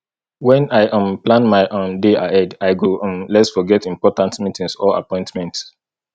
when i um plan my um day ahead i go um less forget important meetings or appointments